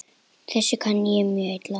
Þessu kann ég mjög illa.